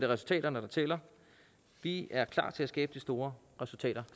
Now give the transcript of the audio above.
resultaterne der tæller vi er klar til at skabe de store resultater